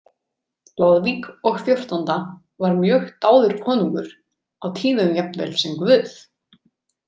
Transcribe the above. Loðvík og fjórtánda var mjög dáður konungur, á tíðum jafnvel sem guð.